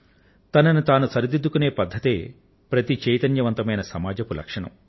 తనను తాను సరిదిద్దుకొనే పద్ధతే ప్రతి చైతన్యవంతమైన సమాజపు లక్షణం